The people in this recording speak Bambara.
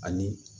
Ani